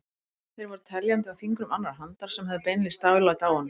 Þeir voru teljandi á fingrum annarrar handar sem höfðu beinlínis dálæti á honum.